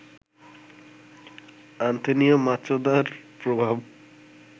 Antonio মাচোদার প্রভাব